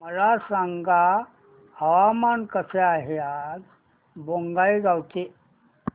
मला सांगा हवामान कसे आहे आज बोंगाईगांव चे